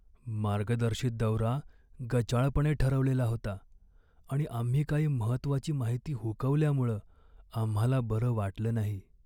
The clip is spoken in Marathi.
मार्गदर्शित दौरा गचाळपणे ठरवलेला होता आणि आम्ही काही महत्त्वाची माहिती हुकवल्यामुळं आम्हाला बरं वाटलं नाही.